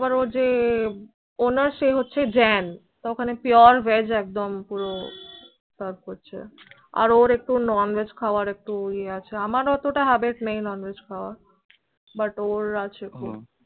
ও যে owner সে হয়ছে Jain তো ওইখানে পুরো veg পুরো serve আর ওর একটু non-veg খাওয়ার একটু এয়ে আছে আমার এতো তা habit এয়ে নেই non-veg খাওয়া but ওর আছে ও